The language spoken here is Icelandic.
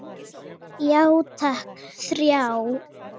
Já takk, þrjá.